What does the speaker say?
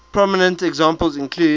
prominent examples include